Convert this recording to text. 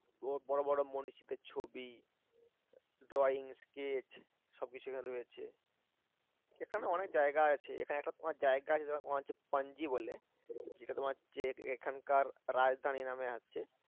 বড় বড় মনীষীদের ছবি drawing sketch সবকিছু এখানে রয়েছে এখানে অনেক জায়গায় আছে এখানে একটা তোমার জায়গা আছে পানজি বলে যেটা তোমার হচ্ছে এখানকার রাজধানী নামে আছে